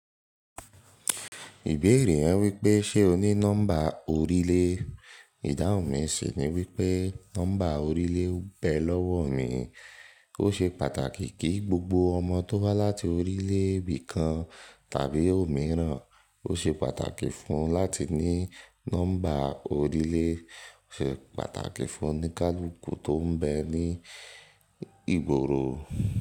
Ìbéèrè yẹn wípé ṣe o ní nọ́mbà orílẹ̀? Ìdáhùn mi sì ni wípé nọ́mbà orílẹ̀ oun bẹ lọ́wọ mi, ó ṣe pàtàkì kí gbogbo ọmọ tó wá láti orílẹ̀ bí kan tàbí òmíràn ó ṣe pàtàkì fún un láti ní nọ́mbà orílẹ̀, ó ṣe pàtàkì fún oníkálukú tó ń bẹ ní ìgboro.